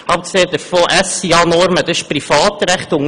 Abgesehen davon sind die SIA-Normen Privatrecht.